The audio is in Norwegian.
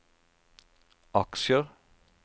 aksjer